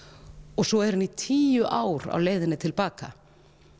og svo er hann í tíu ár á leiðinni til baka